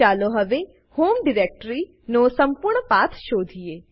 ચાલો હવે home directory નો સંપૂર્ણ પાથ શોધીએ